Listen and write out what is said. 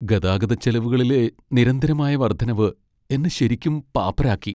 ഗതാഗതച്ചെലവുകളിലെ നിരന്തരമായ വർദ്ധനവ് എന്നെ ശരിക്കും പാപ്പരാക്കി.